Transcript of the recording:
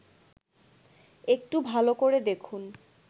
একটু ভাল করে দেখুন